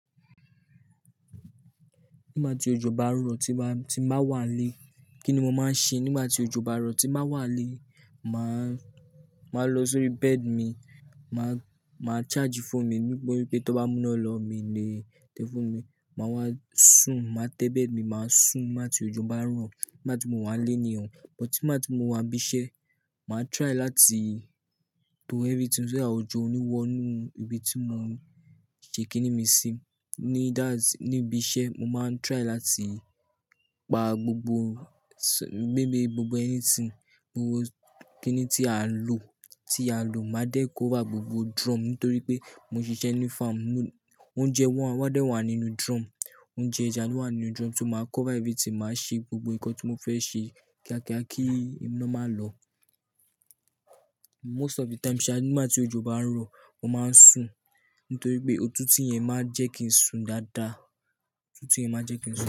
Nígbà tí òjò bá ń rọ̀ tí o bá tí n ba wà n lé, kí ni mo máa ń ṣe? Nígbà tí òjò bá ń rọ̀ tí o bá tí n ba wà n lé, màá màá lọ sórí bed mi, màá charge phone mi nítorí pé tán bá mú iná lọ mi ò lè tẹ phone mik màá wá sùn, má tẹ bed mi nígbà tí òjò bá rọ̀ nígbà tí mo wànlé ni o, but nígbà tí mo wà ní ibi iṣẹ́, màá try láti to everything so that òjò ò ní wọ inú ibi tí mo fi kíni mi sí ni that's-- ní ibi iṣẹ́ mo máa ń try láti pa gbogbo maybe gbogbo anything gbogbo kíni tí a ń lò tí a lò, má dẹ̀ cover gbogbo drum nítorí pé mo ń ṣiṣẹ́ ní farm. Oúnjẹ wa, wọ́n dẹ̀ wà nínú drum oúnjẹ ẹja ló wà nínú drum. So má cover everything màá ṣe gbogbo ǹkan tí mo fẹ́ ṣe kíákíá kí iná má lọ most of the time sha nígbà tí òjò bá rọ̀, mo máa ń sùn nítorí pé òtútù yẹn má ń jẹ́ kí n sùn dáadáa òtútù yẹn má ń jẹ́ kín sùn.